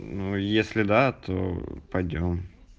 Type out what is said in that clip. ну если да то пойдём